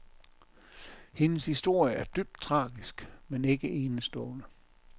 Hendes historie er dybt tragisk, men ikke enestående.